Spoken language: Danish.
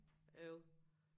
Øv